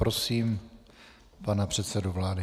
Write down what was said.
Prosím pana předsedu vlády.